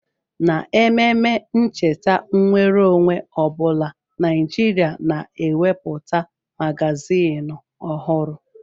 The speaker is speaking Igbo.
N'ememe ncheta nnwere onwe ọ bụla, Naịjirịa na-ewepụta magaziini ọhụrụ.